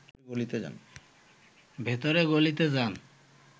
ভেতরের গলিতে যান